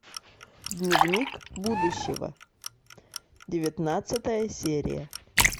дневник будущего девятнадцатая серия